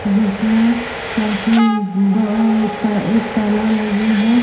जिसमे काफी ब अ एक ताला लगी है।